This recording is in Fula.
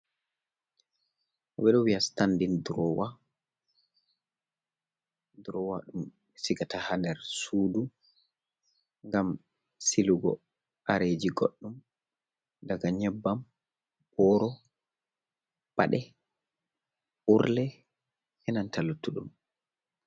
Ɓeɗo viya standin durowa, durowa ɗum sigata ha nder sudu ngam silugo kareji goɗɗum, daga nyebbam, boro, paɗe, urle enanta luttuɗum.